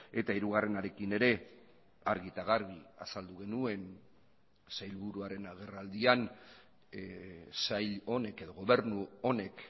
eta hirugarrenarekin ere argi eta garbi azaldu genuen sailburuaren agerraldian sail honek edo gobernu honek